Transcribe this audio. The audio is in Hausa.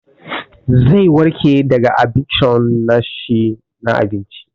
Zai warke daga adikshon na shi na abinci.